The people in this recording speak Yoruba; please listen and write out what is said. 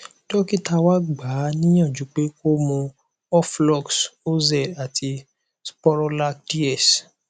dókítà wa gbà á níyànjú pé kó mu oflox oz àti sporolac ds